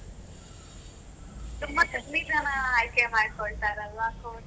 ತುಂಬ ಕಮ್ಮಿ ಜನ ಆಯ್ಕೆ ಮಾಡ್ಕೊಳ್ತಾರಲ್ಲಾ course?